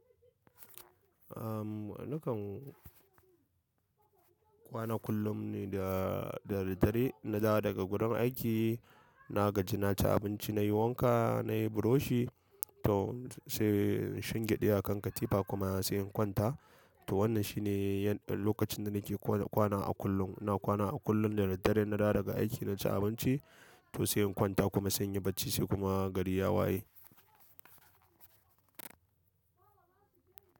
Ahm, nakan kwana kullum ne da, da daddare na dawo daga gurin aiki, na gaji na ci abinci nayi wanka nayi buroshi tau sai shingiɗe akan katifa kuma sai in kwanta. To wannan shine yadda lokacin da nake kore kwana a kullum. Ina kwana a kullum da daddare na dawo daga aiki na ci abinci to sai in kwanta kuma sai in yi bacci sai kuma gari ya waye.